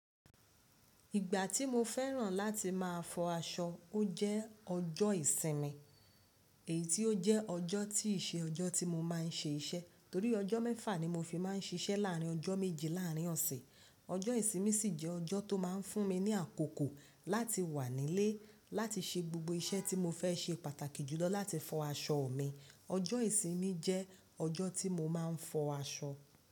Ìgbà tí mo fẹ́ràn láti má a fọ aṣọ, ó jẹ́ ọjọ́ ìsinmi, èyí tí ó jẹ́ ọjọ́ tí ì ṣe ọjọ́ tí mo má a n ṣe iṣẹ́ torí ọjọ́ mẹ́fà ni mo fi má a n ṣiṣẹ́ láàrín ọjọ́ méjì láàrín ọ̀sẹ̀. Ọjọ́ ìsinmi sì jẹ́ ọjọ́ tó má a n fún mi ní àkókò láti wà nílé láti ṣe gbogbo iṣẹ́ tí mo fẹ́ ṣe pàtàkì jùlọ láti fọ aṣọ mi. Ọjọ́ ìsinmi jẹ́ ọjọ́ tí mo má a n fọ aṣọ.